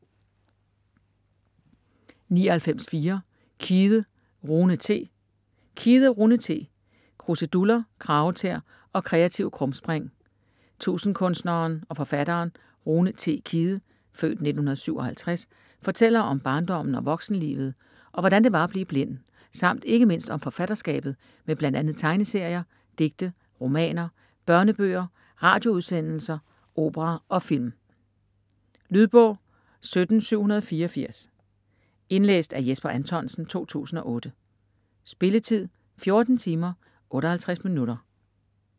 99.4 Kidde, Rune T. Kidde, Rune T.: Kruseduller, kragetæer og kreative krumspring Tusindkunstneren og forfatteren Rune T. Kidde (f. 1957) fortæller om barndommen og voksenlivet og hvordan det var at blive blind samt ikke mindst om forfatterskabet med bl.a. tegneserier, digte, romaner, børnebøger, radioudsendelser, opera og film. Lydbog 17784 Indlæst af Jesper Anthonsen, 2008. Spilletid: 14 timer, 58 minutter.